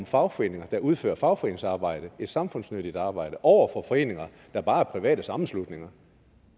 fagforeninger der udfører for fagforeningsarbejde et samfundsnyttigt arbejde over for foreninger der bare er private sammenslutninger